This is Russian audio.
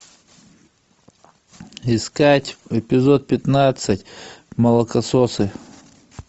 искать эпизод пятнадцать молокососы